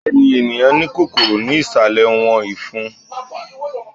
bẹẹni, eniyan ni kòkòrò ni isalẹ wọn ifun.